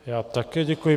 Já také děkuji.